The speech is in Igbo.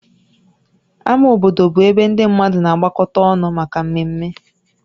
Ámá obodo bụ ebe ndị mmadụ na-agbakọta ọnụ maka mmemme